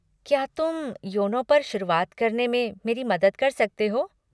क्या तुम योनो पर शुरुआत करने में मेरी मदद कर सकते हो?